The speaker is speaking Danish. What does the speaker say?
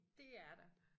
Dét er der